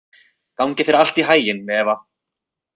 Gangi þér allt í haginn, Eva.